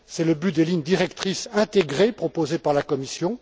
C'est le but des lignes directrices intégrées proposées par la Commission.